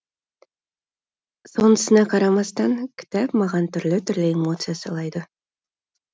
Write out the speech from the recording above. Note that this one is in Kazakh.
сонысына қарамастан кітап маған түрлі түрлі эмоция сыйлады